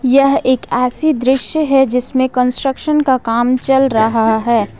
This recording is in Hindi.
यह एक ऐसी दृश्य है जिसमें कंस्ट्रक्शन का काम चल रहा है।